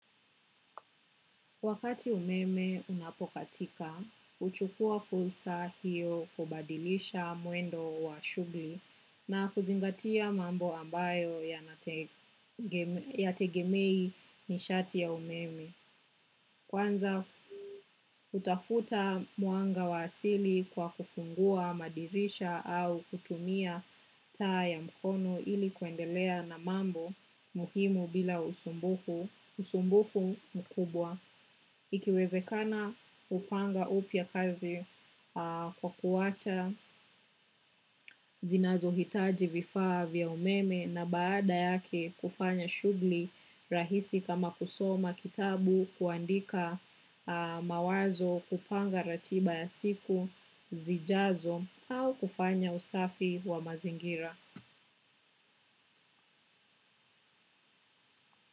Wakati umeme unapokatika, huchukua fulsa hiyo kubadilisha mwendo wa shughli na kuzingatia mambo ambayo yategemei nishati ya umeme. Kwanza utafuta mwanga wa asili kwa kufungua madirisha au kutumia taa ya mkono ili kuendelea na mambo muhimu bila usumbufu mkubwa. Ikiwezekana hupanga upya kazi kwa kuwacha zinazohitaji vifaa vya umeme na baada yake kufanya shughli rahisi kama kusoma kitabu kuandika mawazo kupanga ratiba ya siku zijazo au kufanya usafi wa mazingira.